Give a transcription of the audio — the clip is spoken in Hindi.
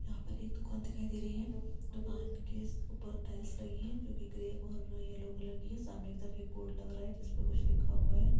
यहाँ पर एक दुकान दिखाई दे रही हैं दुकान के ऊपर टाइल्स लगी हुई हैंजो की ग्रे और यलो कलर की हैं सामने की तरफ एक बोर्ड लग रहा हैं; जिसमे कुछ लिखा हुआ हैं।